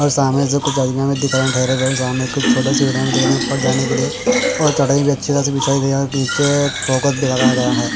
और सामने से कुछ आदमियां भी दिख रहे ठहरे हुए सामने कुछ छोटे सिकड़ियां भी दिख रहे उपर जाने के लिए और चटाई अच्छी तरह से बिछाई गई है और नीचे फोकस लगाया गया है।